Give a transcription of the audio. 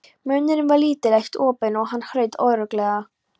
Munnurinn var lítið eitt opinn og hann hraut óreglulega.